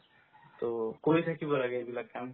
to কৰি থাকিব লাগে এইবিলাক কাম